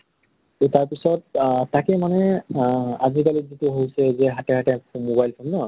তাৰপিছত আ তাকে মানে আ আজিকালি যিটো হৈছে যে হাতে হাতে mobile phone ন ?